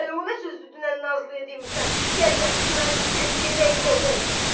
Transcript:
Hələ ona sözdü, dünən Nazliyə demisən, gəl yapışım əlindən, gedək gəzək!